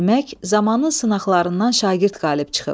Demək, zamanın sınaqlarından şagird qalib çıxıb.